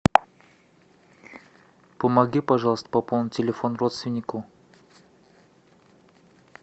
помоги пожалуйста пополнить телефон родственнику